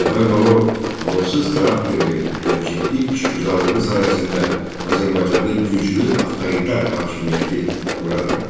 Mir Cəfər Bağırov amansız xarakterli və ciddi işgüzarlığı sayəsində Azərbaycanda güclü avtoritar hakimiyyəti qura bildi.